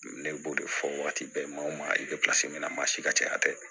Ne b'o de fɔ waati bɛɛ ma min na masi ka caya tɛ